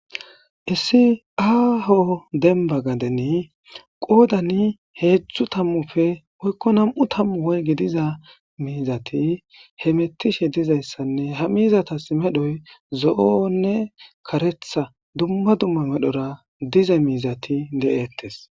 Issi aaho denba gadeni qoodani heedzdzu tammufe oykko nam7u tammu woygi diza miizati he mettishe dizayssanne ha miizatas medhoy zo7onne karetha dumma dumma medhora diza miizati de7ettes